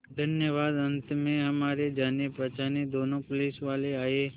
धन्यवाद अंत में हमारे जानेपहचाने दोनों पुलिसवाले आए